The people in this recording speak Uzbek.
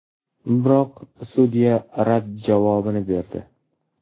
Biroq sudya rad javobini berdi.